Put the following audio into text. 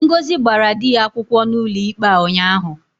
Ngozi gbara di ya akwukwo n'ụlọikpe a ụnyahụ.